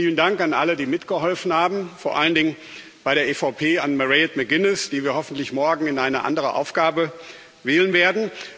Deswegen vielen Dank an alle, die mitgeholfen haben, vor allen Dingen bei der EVP an Mairead McGuinness, die wir hoffentlich morgen in eine andere Aufgabe wählen werden.